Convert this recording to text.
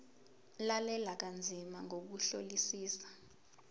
lalela kanzima ngokuhlolisisa